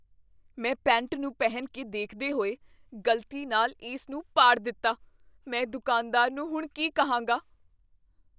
ਮੈਂ ਪੈਂਟ ਨੂੰ ਪਹਿਨ ਕੇ ਦੇਖਦੇ ਹੋਏ ਗ਼ਲਤੀ ਨਾਲ ਇਸ ਨੂੰ ਪਾੜ ਦਿੱਤਾ। ਮੈਂ ਦੁਕਾਨਦਾਰ ਨੂੰ ਹੁਣ ਕੀ ਕਹਾਂਗਾ ?